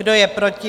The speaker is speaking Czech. Kdo je proti?